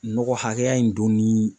Nɔgɔ hakɛya in don ni